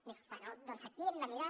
diu bé doncs aquí hem de mirar